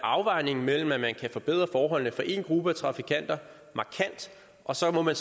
afvejning imellem at man kan forbedre forholdene for en gruppe af trafikanter markant og så må man